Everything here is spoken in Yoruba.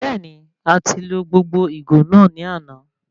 Bẹẹni, a ti lo gbogbo ìgò náà ní àna